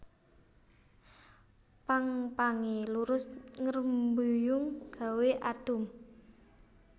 Pang pangé lurus ngrembuyung gawé adhum